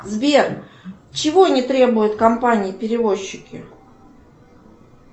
сбер чего не требуют компании перевозчики